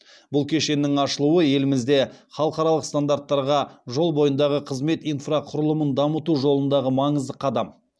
бұл кешеннің ашылуы елімізде халықаралық стандарттарға жол бойындағы қызмет инфрақұрылымын дамыту жолындағы маңызды қадам